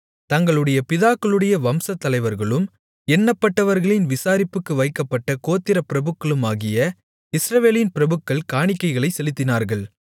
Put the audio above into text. தங்களுடைய பிதாக்களுடைய வம்சத்தலைவர்களும் எண்ணப்பட்டவர்களின் விசாரிப்புக்கு வைக்கப்பட்ட கோத்திரப் பிரபுக்களுமாகிய இஸ்ரவேலின் பிரபுக்கள் காணிக்கைகளைச் செலுத்தினார்கள்